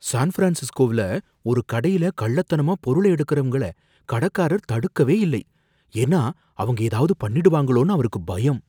San ஃப்ரான்சிஸ்கோவில ஒரு கடையில கள்ளத்தனமா பொருள எடுக்கிறவங்களை கடைக்காரர் தடுக்கவே இல்லை, ஏன்னா அவங்க ஏதாவது பண்ணிடுவாங்கன்னு அவருக்கு பயம்.